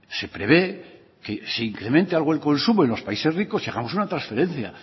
se prevé que se incremente algo el consumo en los países ricos y hagamos una transferencia